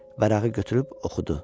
Vərəqi götürüb oxudu.